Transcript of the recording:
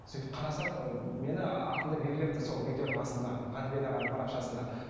сөйтіп қарасам ыыы мені атымды белгілепті сол видеоның астына ғаділбек ағаның парақшасына